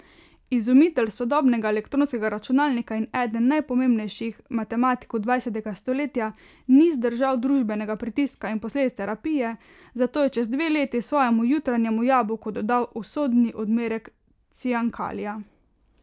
Izumitelj sodobnega elektronskega računalnika in eden najpomembnejših matematikov dvajsetega stoletja ni zdržal družbenega pritiska in posledic terapije, zato je čez dve leti svojemu jutranjemu jabolku dodal usodni odmerek ciankalija.